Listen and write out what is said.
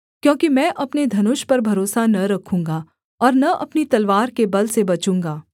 क्योंकि मैं अपने धनुष पर भरोसा न रखूँगा और न अपनी तलवार के बल से बचूँगा